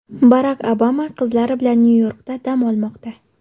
Barak Obama qizlari bilan Nyu-Yorkda dam olmoqda.